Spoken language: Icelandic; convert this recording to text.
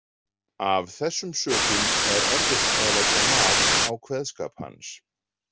Af þessum sökum er erfitt að leggja mat á kveðskap hans.